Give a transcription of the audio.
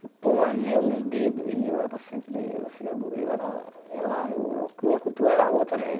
pôr um anel no dedo e eu era sempre... e eu eu era eu era... sei lá eu... minha cultura era outra, né?